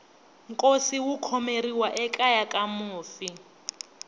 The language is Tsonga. nkosi wu khomeriwa ekeya ka mufi